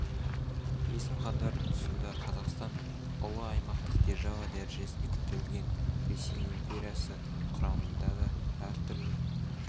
есім іандардың тұсында қазақстан ұлы аймақтық держава дәрежесіне дейін көтерілген ресей империясы құрамында да әртүрлі